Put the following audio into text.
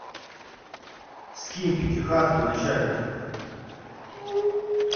скинь пятихатку начальнику